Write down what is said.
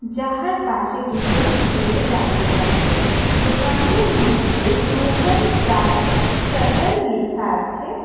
যাহার পাশে দুজন ছেলে দাঁড়িয়ে আছে দোকানটির মদ্যে রোহন চায়ে স্যাটার লেখা আছে।